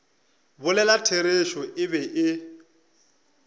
bolela therešo e be e